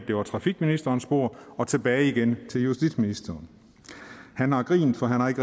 det var trafikministerens bord og tilbage igen til justitsministeren han har grint for han har ikke